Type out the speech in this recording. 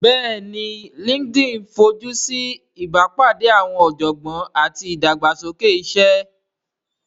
Bẹ́ẹ̀ni LinkedIn fojú sí ìbápàdé àwọn ọ̀jọ̀gbọ́n àti ìdàgbàsókè iṣẹ́